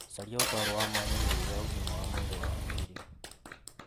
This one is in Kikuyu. Caria ũtaaro wa mwanya ĩgurũ ria ũgima wa mwĩrĩ wa hakiri.